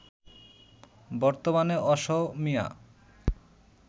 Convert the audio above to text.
বর্তমানে অসমীয়া